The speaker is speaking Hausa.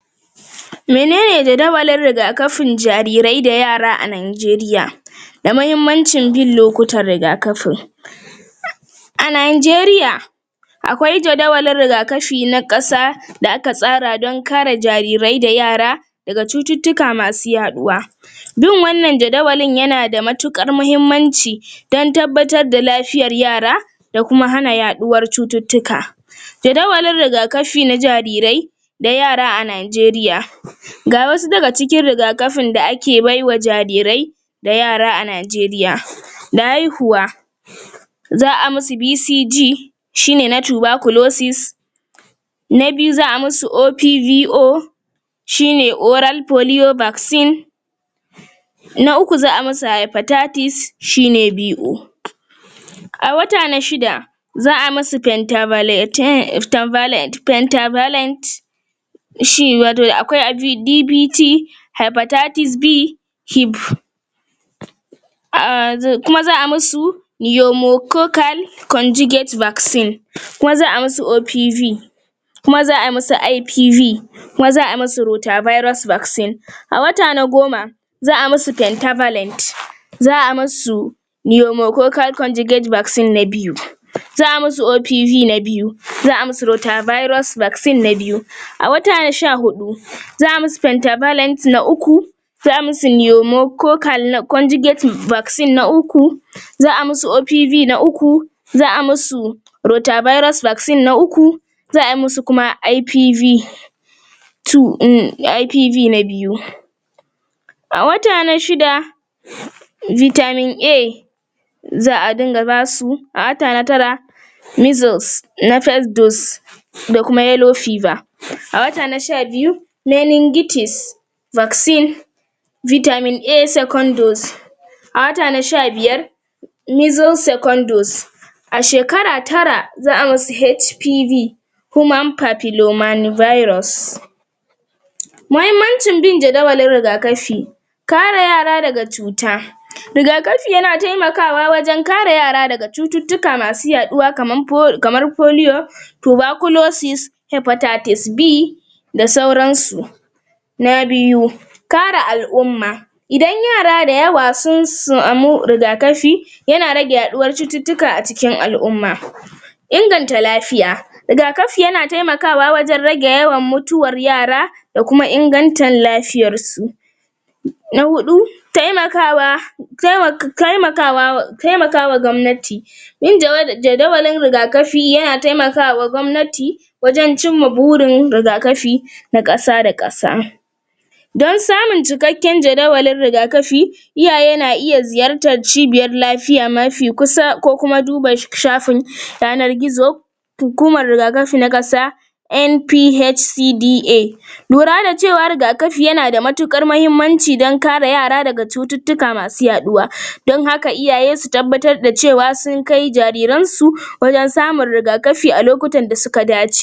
Menene jadawalin rigakafin jarirai da yara a Najeriya da mahimmancin yin lokutan rigakafin a Nainjeriya akwai jadawalin rigakafi na kasa da aka tsara don kare jarirai da yara daga cututtuka masu yaduwa yin wannan jadawalin yana da matuƙar muhimmanci don tabbatar da lafiyar yara da kuma hana yaɗuwar cututtuka jadawalin rigakafi na jarirai da yara a Najeriya ga wasu daga cikin rigakafin da ake bai wa jarirai da yara a Najeriya da haihuwa za a musu BCG shine na na biyu za a musu OPVO shine na uku za a musu shine BO a wata na shida za a masu shi wato akwai DBT um um kuma za a musu kuma za a musu OPV kuma za a musu IPV kuma za a musu a wata na goma za a musu za a masu na biyu za a musu OPV na biyu za a musu na biyu a wata na sha huɗu za a musu na uku za a musu na uku za a musu OPV na uku za a musu na uku za a musu kuma IPV [um} IPV na biyu a wata na shida za a dinga basu a wata na tara na da kuma a wata na sha biyu a wata na sha biyar a shekara tara za a musu HPV mahimmancin bin jadawalin rigakafi kare yara daga cuta rigakafi yana taimakawa wajen kare yara daga cututtuka masu yaɗuwa um kamar da sauransu na biyu kare al'umma idan yara dayawa sun samu rigakafi yana rage yaɗuwar cututtuka a ciki al'umma inganta lafiya rigakafi yana temakawa wajen rage mutuwan yara da kuma ingantann lafiyarsu na huɗu taimakawa um taimakawa gwamnati yin um jadawalin rigakafi yana taimakawa gwamnati wajen cimma burin rigakafi na ƙasa da ƙasa don samun cikakken jadawalin rigakafi iyaye na iya ziyartar cibiyan lafiya mafi kusa ko kuma duba shafin yanar gizo hukumar rigakafi na ƙasa NPHCDA lura da cewar rigakafi yana da matuƙar mahimmanci don kare yara daga cututtuka masu yaɗuwa don baka iyaye su tabbatar da cewa sun kai jariran su wajen rigakafi a lokutan da suka dace.